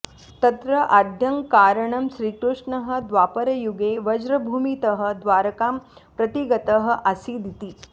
तत्र आद्यं कारणं श्रीकृष्णः द्वापरयुगे व्रजभूमितः द्वारकां प्रति गतः आसीदिति